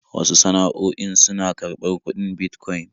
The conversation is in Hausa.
Wasu sana'o'in suna karɓar kudin Bitcoin